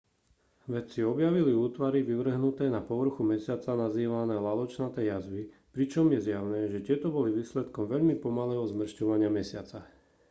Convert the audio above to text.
vedci objavili útvary vyvrhnuté na povrchu mesiaca nazývané laločnaté jazvy pričom je zjavné že tieto boli výsledkom veľmi pomalého zmršťovania mesiaca